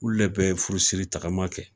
u le be furusiri tagama kɛ